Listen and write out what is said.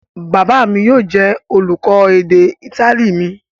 Bàbá mi yóò jẹ́ olùkọ́ èdè Ítálì mi.